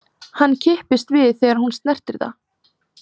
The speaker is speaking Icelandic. Hann kippist við þegar hún snertir það.